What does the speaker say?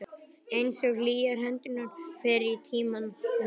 Einsog hlýjar hendurnar fyrr í tímanum.